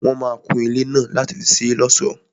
Wọ́n máa kun ilé náà láti fi ṣé l'ọ́sọ̀.